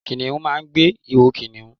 Kìnìún máa n gbe iho kìnìún